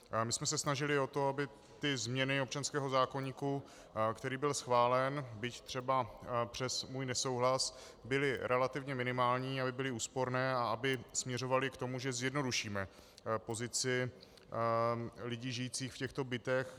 My jsme se snažili o to, aby ty změny občanského zákoníku, který byl schválen, byť třeba přes můj nesouhlas, byly relativně minimální, aby byly úsporné, a aby směřovaly k tomu, že zjednodušíme pozici lidí žijících v těchto bytech.